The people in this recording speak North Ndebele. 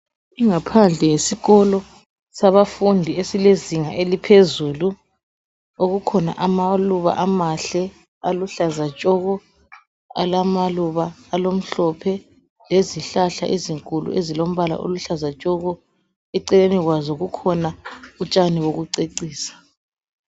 ingaphandle yesikolo zabafundi abezinga elngaphezulu okukhona amaluba amahle aluhlaza tshoko alamaluba alomhlophe lezihlahla ezinkulu eziluhlaza tshoko eceleni kwazo kukhona utshani bokucecisa